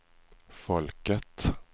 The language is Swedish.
folket